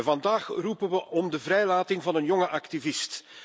Vandaag roepen we op tot de vrijlating van een jonge activist.